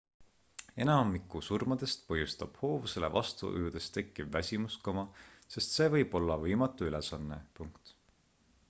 enamiku surmadest põhjustab hoovusele vastu ujudes tekkiv väsimus sest see võib olla võimatu ülesanne